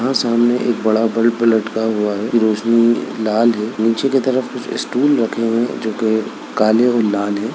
यहाँ सामने एक बड़ा बल्ब लटका हुआ है रोशनी लाल है नीचे के तरफ कुछ स्टूल रखे हुए है जो कि काले और लाल है।